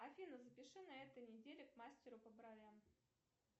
афина запиши на этой неделе к мастеру по бровям